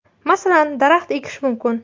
Masalan, daraxt ekish mumkin.